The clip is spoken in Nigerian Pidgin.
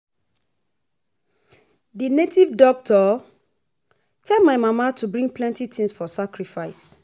The native doctor tell my mama to bring plenty things for sacrifice